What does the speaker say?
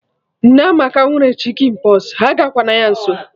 Nneamaka nwere Chicken pox, agakwa na ya nso